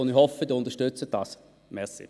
Ich hoffe, Sie unterstützen den Antrag.